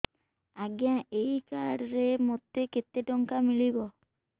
ଆଜ୍ଞା ଏଇ କାର୍ଡ ରେ ମୋତେ କେତେ ଟଙ୍କା ମିଳିବ